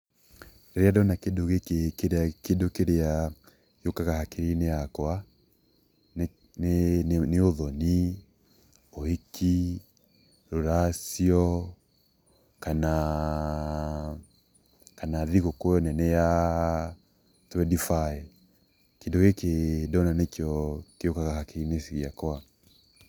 Rĩrĩa ndona kĩndũ gĩkĩ kĩndũ kĩrĩa gĩũkaga hakirinĩ yakwa nĩ ũthoni, ũhiki, rũracio, kana thigũkũ nene ya twendi baĩ kĩndũ gĩkĩ ndona nĩkĩo gĩũkaga hakirinĩ ciakwa.